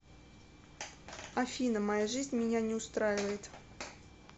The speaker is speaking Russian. афина моя жизнь меня не устраивает